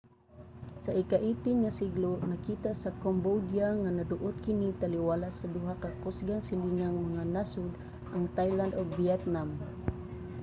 sa ika-18 nga siglo nakita sa cambodia nga naduot kini taliwala sa duha ka kusgang silingang mga nasod ang thailand ug vietnam